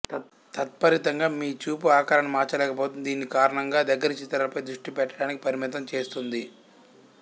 తత్ఫలితంగా మీ చూపు ఆకారాన్ని మార్చలేకపోతుంది దీని కారణం గా దగ్గరి చిత్రాలపై దృష్టి పెట్టడానికి పరిమితం చేస్తుంది